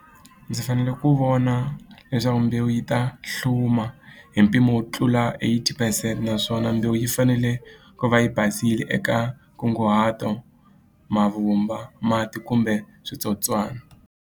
Ndzi fanele ku vona leswaku mbewu yi ta hluma hi mpimo wo tlula eighty percent naswona mbewu yi fanele ku va yi basile eka nkunguhato mavumba mati kumbe switsotswana.